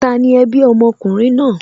Tani ẹbí ọmọkùnrin náà?